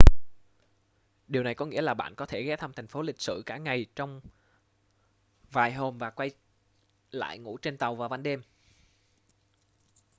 điều này có nghĩa là bạn có thể ghé thăm thành phố lịch sử cả ngày trong vài hôm và quay lại ngủ trên tàu vào ban đêm